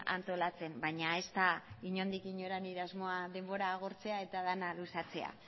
antolatzen baina ez da inondik inora nire asmoa denbora agortzea eta dena luzatzea